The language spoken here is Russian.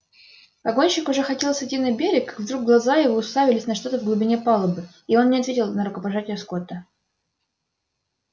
погонщик уже хотел сойти на берег вдруг глаза его уставились на что то в глубине палубы и он не ответил на рукопожатие скотта